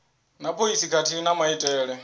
na phoisi khathihi na maitele